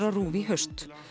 á RÚV í haust